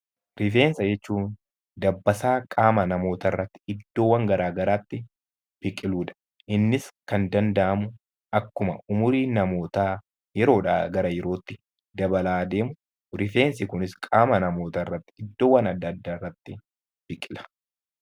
Rifeensa jechuun dabbasaa qaama namootaa irratti iddoowwan gara garaatti biqiluu dha. Innis kan danda'amu akkuma umuriin namootaa yeroo dhaa gara yerootti dabalaa deemu rifeensi kunis qaama namootaa irratti iddoowwan adda addaati biqila.